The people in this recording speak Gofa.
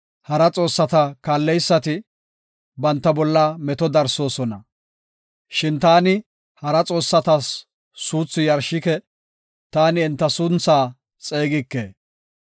Hara xoossata kaalleysati banta bolla meto darsoosona. Shin taani hara xoossatas suuthi yarshike; taani enta sunthaa xeegike.